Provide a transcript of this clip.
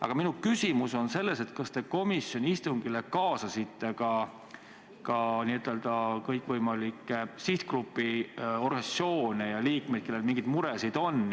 Aga minu küsimus on, kas te komisjoni istungile kaasasite ka n-ö kõikvõimalikke sihtgrupi organisatsioone ja nende liikmeid, kellel mingeid muresid on.